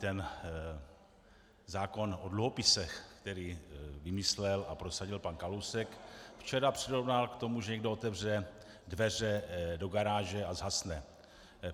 Ten zákon o dluhopisech, který vymyslel a prosadil pan Kalousek, včera přirovnal k tomu, že někdo otevře dveře do garáže a zhasne.